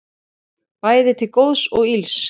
Bæði til góðs og ills.